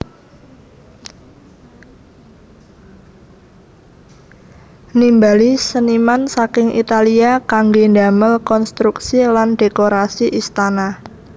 Nimbali seniman saking Italia kanggé damel konstruksi lan dhékorasi istana